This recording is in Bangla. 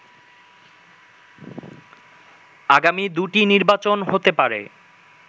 আগামী দুটি নির্বাচন হতে পারে